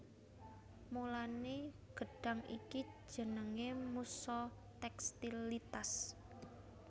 Mulané gedhang iki jenengé musa tékstilitas